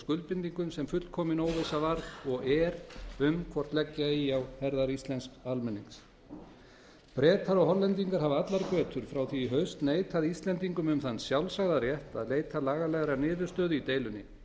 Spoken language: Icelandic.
skuldbindingum sem fullkomin óvissa var og er um hvort leggja eigi á herðar íslensks almennings bretar og hollendingar hafa allar götur frá því í haust neitað íslendingum um þann sjálfsagða rétt að leita lagalegrar niðurstöðu í deilunni